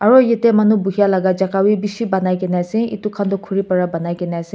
aru yate manu boihia laga jaga bhi bishi banai ke na ase etu khan tu khori para banai ke na ase.